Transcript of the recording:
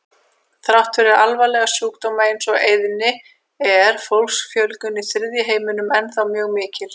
Þrátt fyrir alvarlega sjúkdóma eins og eyðni er fólksfjölgun í þriðja heiminum ennþá mjög mikil.